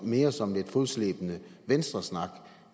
mere som lidt fodslæbende venstresnak